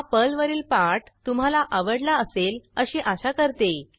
हा पर्लवरील पाठ तुम्हाला आवडला असेल अशी आशा करते